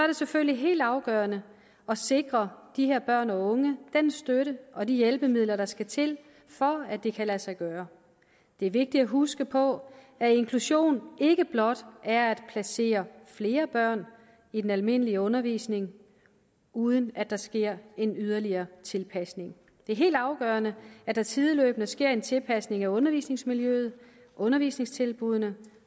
det selvfølgelig helt afgørende at sikre de her børn og unge den støtte og de hjælpemidler der skal til for at det kan lade sig gøre det er vigtigt at huske på at inklusion ikke blot er at placere flere børn i den almindelige undervisning uden at der sker en yderligere tilpasning det er helt afgørende at der sideløbende sker en tilpasning af undervisningsmiljøet undervisningstilbuddene